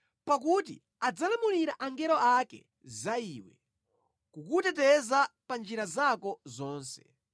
Pakuti adzalamulira angelo ake za iwe, kuti akutchinjirize mosamala pa njira zako zonse;